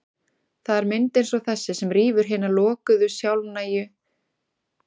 Það er mynd eins og þessi sem rýfur hina lokuðu, sjálfnægu